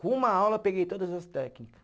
Com uma aula eu peguei todas as técnica.